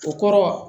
O kɔrɔ